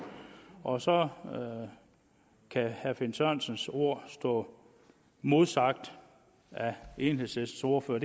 og så kan herre finn sørensens ord stå modsagt af enhedslistens ordfører